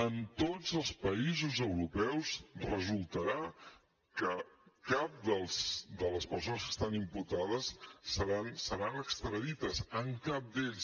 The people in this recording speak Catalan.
en tots els països europeus resultarà que cap de les persones que estan imputades seran extradides en cap d’ells